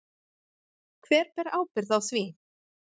Hver ber ábyrgð á því?